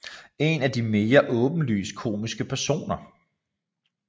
En af de mere åbenlyst komiske personer